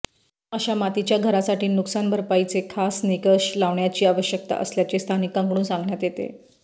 अशा मातीच्या घरांसाठी नुकसान भरपाईचे खास निकष लावण्याची आवश्यकता असल्याचे स्थानिकांकडून सांगण्यात येते